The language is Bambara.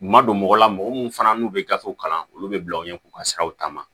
U ma don mɔgɔ la mɔgɔ minnu fana n'u bɛ gafew kalan olu bɛ bila u ɲɛ k'u ka siraw ta ma